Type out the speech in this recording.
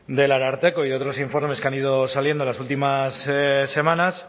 del ararteko y de otros informes que han ido saliendo en las últimas semanas